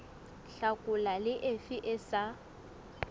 hlakola le efe e sa